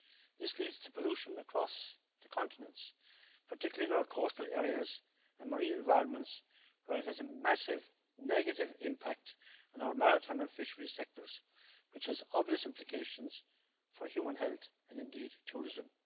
This leads to pollution across the continent, particularly in our coastal areas and marine environments, where it has a massive negative impact on our maritime and fisheries sectors, which has obvious implications for human health and indeed tourism.